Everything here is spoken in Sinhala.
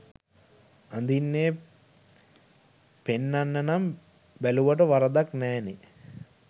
අඳින්නේ පෙන්නන්න නම් බැළුවට වැරැද්දක් නෑනේ